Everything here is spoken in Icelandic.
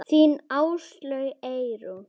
Þín Áslaug Eyrún.